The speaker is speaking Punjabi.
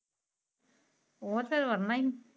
ਓਹ ਤਾ ਵਰ੍ਹਨਾ ਹੀ ਸੀ